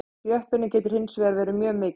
Þjöppunin getur hins vegar verið mjög mikil.